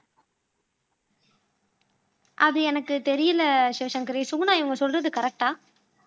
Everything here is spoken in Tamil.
அது எனக்கு தெரியலே சிவசங்கரி சுகுனா இவங்க சொல்றது கரெக்ட்டா